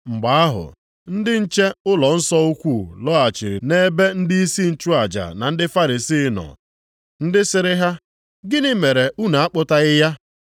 Mgbe ahụ, ndị nche ụlọnsọ ukwu lọghachiri nʼebe ndịisi nchụaja na ndị Farisii nọ, ndị sịrị ha, “Gịnị mere unu akpụtaghị ya?”